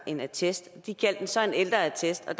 en attest de kaldte det så en ældreattest og